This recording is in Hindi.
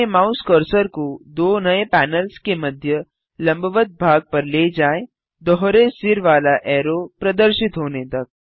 अपने माउस कर्सर को दो नये पैनल्स के मध्य लंबवत भाग पर ले जाएँ दोहरे सिर वाला ऐरो प्रदर्शित होने तक